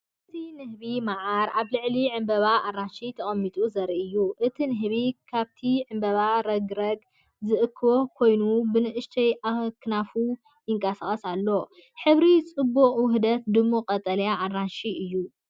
እዚ ንህቢ መዓር ኣብ ልዕሊ ዕምባባ ኣራንሺ ተቐሚጡ ዘርኢ እዩ። እቲ ንህቢ ካብቲ ዕምባባ ረግረግ ዝእክብ ኰይኑ ብንኣሽቱ ኣኽናፉ ይንቀሳቐስ ኣሎ። ሕብሩ ጽቡቕ ውህደት ድሙቕ ቀጠልያን ኣራንሺን እዩ።